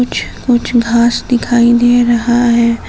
कुछ घास दिखाई दे रहा है।